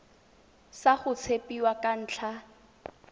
sa go tshepiwa ka ntlha